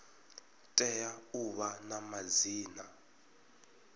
tea u vha na madzina